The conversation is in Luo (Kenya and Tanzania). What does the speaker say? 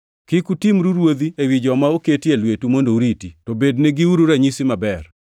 Kik utimru ruodhi ewi joma oketi e lwetu mondo uriti, to bedne giuru ranyisi maber.